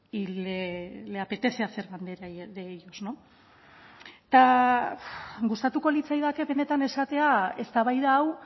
y le apetece hacer detalle de ellos no eta gustatuko litzaidake benetan esatea eztabaida hau